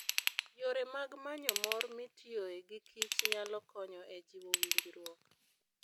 Yore mag manyo mor mitiyoe gi Kich nyalo konyo e jiwo winjruok.